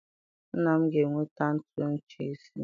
Nna m ga-eweta ntu inchi isii.